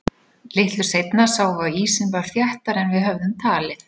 Litlu seinna sáum við að ísinn var þéttari en við höfðum talið.